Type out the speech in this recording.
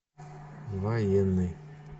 военный